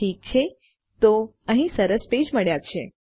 ઠીક છે તો આપણને અહી સરસ પેજ મળ્યા છે